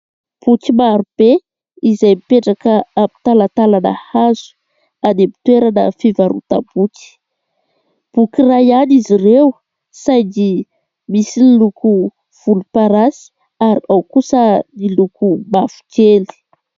Boky maro be izay mipetraka amin'ny talantalana hazo any amin'ny toerana fivarotam-boky. Boky iray ihany izy ireo saingy misy loko volomparasy ary ao kosa ny loko mavokely.